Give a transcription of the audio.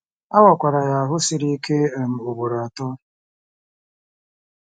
A wakwara ya ahụ́ siri ike um ugboro atọ.